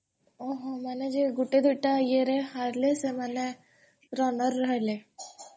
ଓହୋ ମାନେ ଯିଏ ଗୁଟେ ଦୁଇଟା ରେ ହାରିଲେ ସେମାନେ runner ରହିଲେ?